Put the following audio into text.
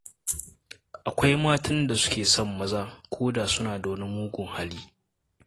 Akwai matan da suke son maza koda suna da wani mugun hali.